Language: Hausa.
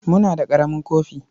Muna da ƙaramin kofi.